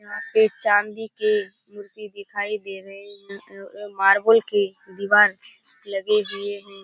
ये चांदी के कुर्सी दिखाई दे रही है और मार्बल के दिवार लगे हुए है |